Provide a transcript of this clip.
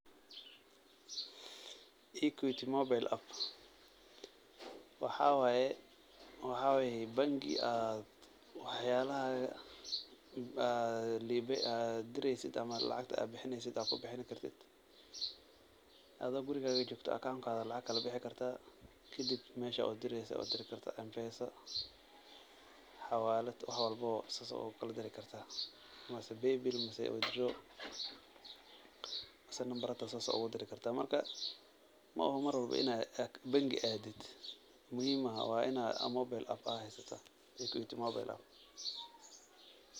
equity mobile app ,waxaa waye banki aad wax yaabahaaga aad direeysid ama lacagta aad bixineysid aad kubixin kartid, adoo gurigaga joogto account kaaga lacag kala bixi kartaa, kadib meesha udireyse udiri kartaa, mpesa ,xawaalad, wax walbo saas ayaa ugu kala diri kartaa, mise paybill mise number xitaa saas ayaa ugu diri kartaa, marka mooho mar walbo inaad banki aadid, muhiim ma aha, waa inaad mobile app haysataa, equity mobile app.